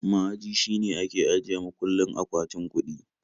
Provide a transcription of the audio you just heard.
Ma'aji shine ke ajiye mukullin akwatin kuɗi